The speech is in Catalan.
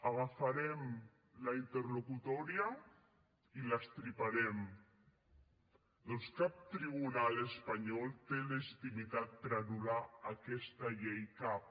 agafarem la interlocutòria i l’estriparem perquè cap tribunal espanyol té legitimitat per anul·lar aquesta llei cap